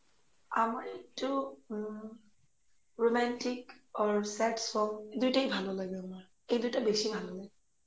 আমার একটু um romantic or sad song দুইটোই ভালো লাগে আমার এই দুইটো বেশি ভালো লাগে